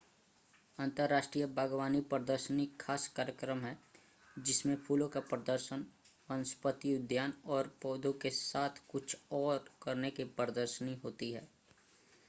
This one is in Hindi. अंतर्राष्ट्रीय बाग़वानी प्रदर्शनी ख़ास कार्यक्रम है जिसमें फूलों का प्रदर्शन वनस्पति उद्यान और पौधों के साथ कुछ और करने की प्रदशर्नी होती है